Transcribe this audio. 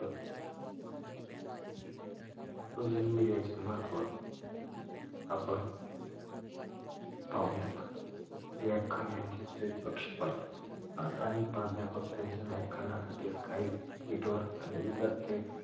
social media चे महत्व आपण पाहुयात व्य्खांनांचे थेट प्रक्षेपण अनेक प्राध्यापक त्यांच्या व्याखानांसाठी skype twitter आणि इतर